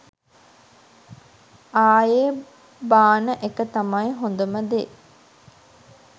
ආයේ බාන එක තමයි හොඳම දේ.